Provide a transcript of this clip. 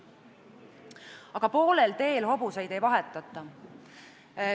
Aga poolel teel hobuseid ei vahetata.